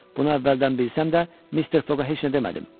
Bunu əvvəldən bilsəm də, Mister Foqa heç nə demədim.